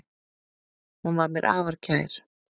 Hún var mér afar kær.